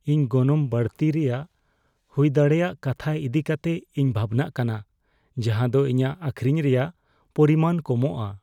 ᱤᱧ ᱜᱚᱱᱚᱝ ᱵᱟᱹᱲᱛᱤ ᱨᱮᱭᱟᱜ ᱦᱩᱭᱫᱟᱲᱮᱭᱟᱜ ᱠᱟᱛᱷᱟ ᱤᱫᱤ ᱠᱟᱛᱮ ᱤᱧ ᱵᱷᱟᱵᱽᱱᱟᱜ ᱠᱟᱱᱟ ᱡᱟᱦᱟᱸ ᱫᱚ ᱤᱧᱟᱹᱜ ᱟᱹᱠᱷᱨᱤᱧ ᱨᱮᱭᱟᱜ ᱯᱚᱨᱤᱢᱟᱱ ᱠᱚᱢᱚᱜᱼᱟ ᱾